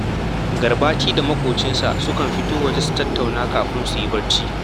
Garbati da maƙocinsa sukan fito waje su tattauna kafin su yi barci